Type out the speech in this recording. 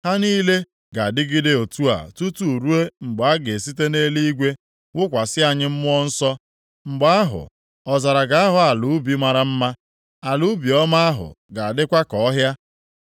Ha niile ga-adịgide otu a tutu ruo mgbe a ga-esite nʼeluigwe wụkwasị anyị Mmụọ Nsọ. Mgbe ahụ ọzara ga-aghọ ala ubi mara mma, ala ubi ọma ahụ ga-adịkwa ka ọhịa.